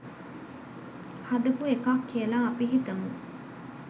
හදපු එකක් කියලා අපි හිතමු.